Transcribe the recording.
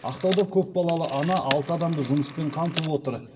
ақтауда көпбалалы ана алты адамды жұмыспен қамтып отыр